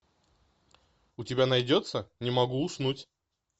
у тебя найдется не могу уснуть